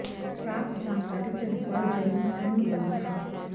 प्राप्त जानकारी के अनुसार जिले में पूर्ण बंद रहा